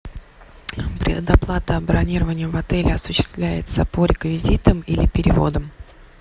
предоплата бронирования в отеле осуществляется по реквизитам или переводом